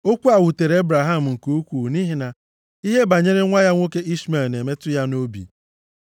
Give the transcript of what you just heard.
Okwu a wutere Ebraham nke ukwuu nʼihi na ihe banyere nwa ya nwoke Ishmel na-emetụ ya nʼobi.